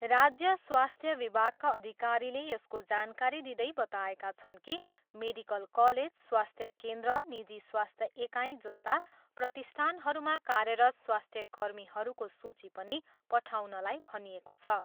राज्य स्वास्थ्य विभागका अधिकारीले यसको जानकारी दिँदै बताएका छन् कि मेडिकल कलेज, स्वास्थ्य केन्द्र, निजी स्वास्थ्य एकाइ जस्ता प्रतिष्ठानहरूमा कार्यरत स्वास्थ्यकर्मीहरूको सूची पनि पठाउनलाई भनिएको छ।